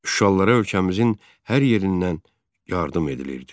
Şuşalılara ölkəmizin hər yerindən yardım edilirdi.